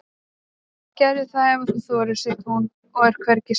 Gerðu það ef þú þorir, segir hún og er hvergi smeyk.